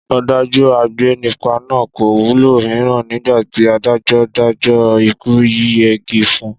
Ọ̀dájú agbénipa náà kò wulẹ̀ mira nígbà tí adájọ́ dájọ́ ikú yíyẹgi fun